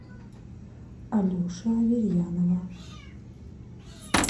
алеши аверьянова